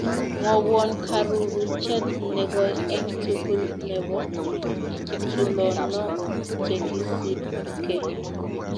Mwowon karuruchet negoi eng' tugul ne po tulonok chegisipke